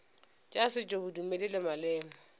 tša setšo bodumedi le maleme